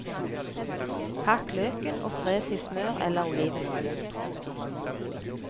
Hakk løken og fres i smør eller olivenolje.